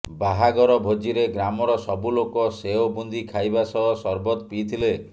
ବାହାଘର ଭୋଜିରେ ଗ୍ରାମର ସବୁ ଲୋକ ସେଓ ବୁନ୍ଦି ଖାଇବା ସହ ସରବତ ପିଇଥିଲେ